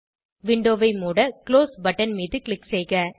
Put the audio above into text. விண்டோவை மூட close button மீது க்ளிக் செய்க